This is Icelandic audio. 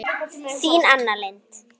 Orðnar hræddar um mig.